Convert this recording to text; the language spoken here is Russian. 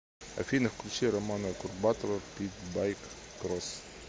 афина включи романа курбатова питбайк кросс